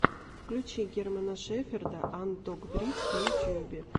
включи германа шеферда анд дог бридс в ютьюбе